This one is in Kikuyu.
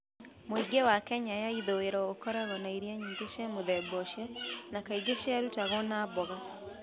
Mũingĩ wa Kenya ya ithũĩro ũkoragwo na irio nyingĩ cia mũthemba ũcio, na kaingĩ ciarutagwo na mboga.